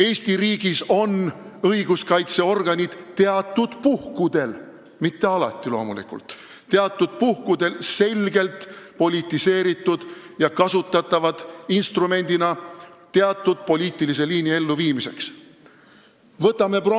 Eesti riigis on õiguskaitseorganid teatud puhkudel – loomulikult mitte alati – selgelt politiseeritud ja kasutatavad mingi poliitilise liini elluviimise instrumendina.